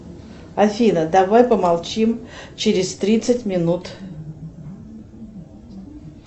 афина давай помолчим через тридцать минут